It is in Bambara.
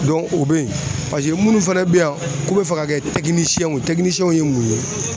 Dɔnu o be ye paseke munnu fɛnɛ be yen k'u be fɛ ka kɛ tɛkinisɛnw ye tɛkinisɛnw ye mun ye